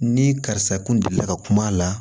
Ni karisa kun delila ka kuma a la